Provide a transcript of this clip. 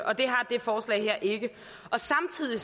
og det har det forslag her ikke og samtidig